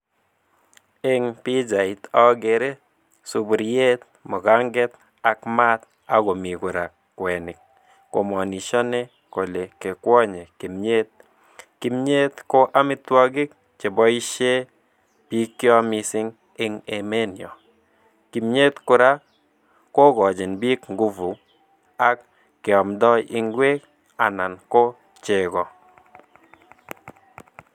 Eng pichait ageere sapuriet, mukanget ak maat akomi kora kwenik, ko manishani kole kikwanye kimnyet, kimnyet ko amitwokik chepoishe biikyo mising eng emenyo. Kimnyet kora kokochin biik nguvu ako keamdai ingwek anan ko chego.